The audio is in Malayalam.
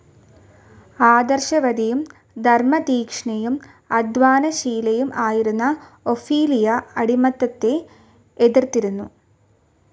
ആദർശവതിയും ധർമ്മതീക്ഷ്ണയും അദ്ധ്വാനശീലയും ആയിരുന്ന ഒഫീലിയ അടിമത്തത്തെ എതിർത്തിരുന്നു.